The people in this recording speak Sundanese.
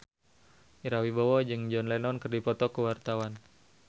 Ira Wibowo jeung John Lennon keur dipoto ku wartawan